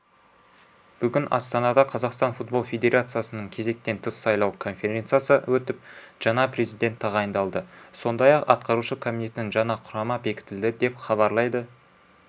бүгін астанада қазақстан футбол федерациясының кезектен тыс сайлау конференциясы өтіп жаңа президент тағайындалды сондай-ақ атқарушы комитеттің жаңа құрама бекітілді деп хабарлайды